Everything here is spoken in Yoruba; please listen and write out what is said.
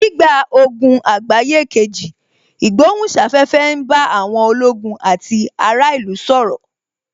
Nígbà ogun àgbáyé kejì, ìgbohùn sáfẹ́fẹ́ ń bá àwọn ológun àti ará ìlú sọ̀rọ̀